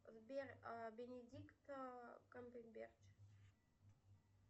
сбер бенедикта камбербэтч